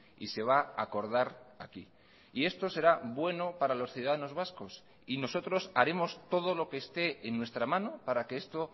y se va a acordar aquí y esto será bueno para los ciudadanos vascos y nosotros haremos todo lo que esté en nuestra mano para que esto